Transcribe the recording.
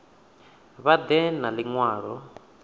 vha ḓe na ḽi ṅwalo